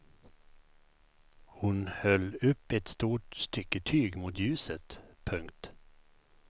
Hon höll upp ett stort stycke tyg mot ljuset. punkt